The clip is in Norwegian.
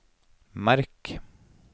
merk